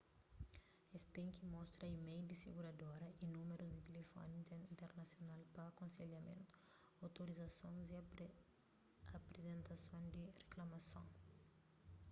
es ten ki mostra email di siguradora y númerus di tilifoni internasional pa akonselhamentu/otorizasons y aprizentason di riklamason